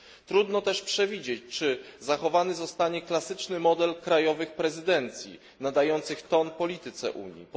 Trudno też przewidzieć, czy zachowany zostanie klasyczny model krajowych prezydencji, nadających ton polityce Unii.